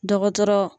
Dɔgɔtɔrɔ